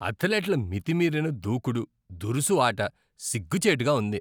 అథ్లెట్ల మితిమీరిన దూకుడు, దురుసు ఆట సిగ్గుచేటుగా ఉంది.